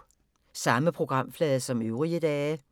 Samme programflade som øvrige dage